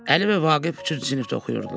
Əli və Vaqif üçüncü sinifdə oxuyurdular.